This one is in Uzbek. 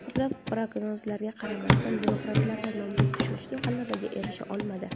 Ko‘plab prognozlarga qaramasdan, demokratlardan nomzod ishonchli g‘alabaga erisha olmadi.